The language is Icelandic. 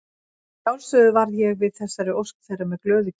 Að sjálfsögðu varð ég við þessari ósk þeirra með glöðu geði.